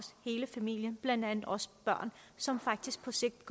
hele familien blandt andet også børn som faktisk på sigt